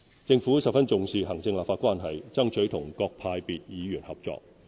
政府十分重視行政立法關係，爭取與各派別議員合作。